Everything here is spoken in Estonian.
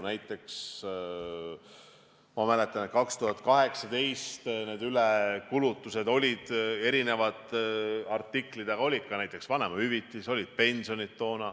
Näiteks, ma mäletan, et 2018 oli ülekulutusi eri artiklite puhul, ka vanemahüvitis, pensionid.